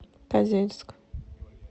козельск